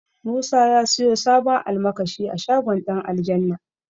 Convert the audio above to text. Musa ya siyo sabon almakashi a shagon Ɗanaljanna